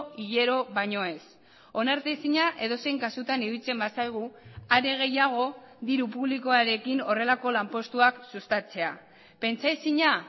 hilero baino ez onartezina edozein kasutan iruditzen bazaigu are gehiago diru publikoarekin horrelako lanpostuak sustatzea pentsaezina